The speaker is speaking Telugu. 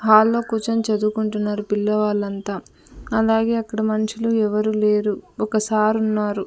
హాల్లో కూర్చొని చదువుకుంటున్నారు పిల్లవాళ్ళంతా అలాగే అక్కడ మనుషులు ఎవరూ లేరు ఒక సారు ఉన్నారు.